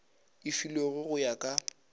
e filwego go ya ka